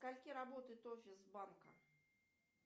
до скольки работает офис банка